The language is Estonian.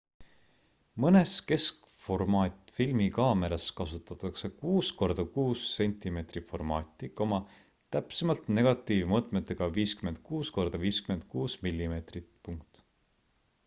mõnes keskformaat filmikaameras kasutatakse 6 korda 6 cm formaati täpsemalt negatiivi mõõtmetega 56 korda 56 mm